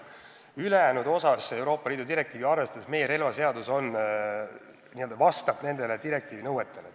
Ülejäänud Euroopa Liidu direktiivi osas meie relvaseadus juba vastab selle nõuetele.